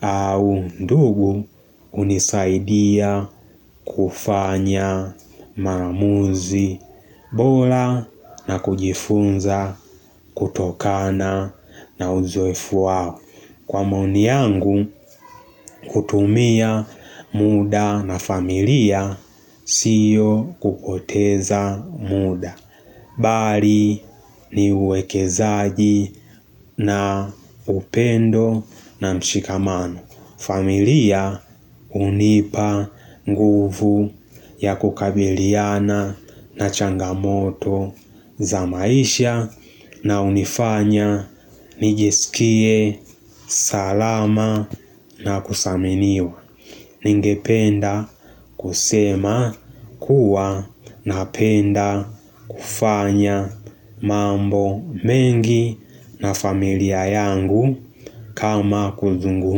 au ndugu unisaidia kufanya maamuzi bora na kujifunza kutokana na uzoefuwao. Kwa maoni yangu kutumia muda na familia siyo kupoteza muda Bali ni uwekezaji na upendo na mshikamano familia unipa nguvu ya kukabiliana na changamoto za maisha na unifanya nijisikie salama na kusaminio Ningependa kusema kuwa napenda kufanya mambo mengi na familia yangu kama kuzungum.